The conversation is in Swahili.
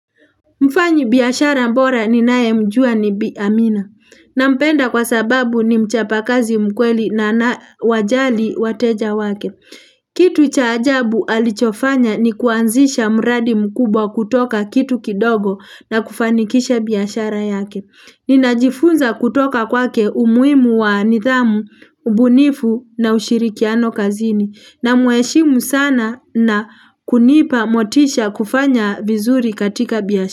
Mfanyi biyashara bora ninae mjua ni bi amina. Nampenda kwa sababu ni mchapakazi mkweli na anawajali wateja wake. Kitu cha ajabu alichofanya ni kuanzisha muradi mkubwa kutoka kitu kidogo na kufanikisha biyashara yake. Ninajifunza kutoka kwake umuimu wa nidhamu, ubunifu na ushirikiano kazini. Na mweshimu sana na kunipa motisha kufanya vizuri katika biyashara.